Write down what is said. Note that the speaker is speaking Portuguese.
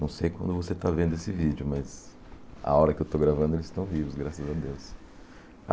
Não sei quando você está vendo esse vídeo, mas a hora que eu estou gravando eles estão vivos, graças a Deus.